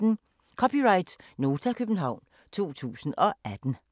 (c) Nota, København 2018